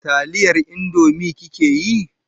Taliyar Indomie kike yi?